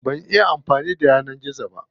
Ban iya amfani da yanar gizo ba.